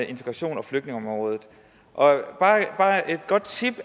integrations og flygtningeområdet bare et godt tip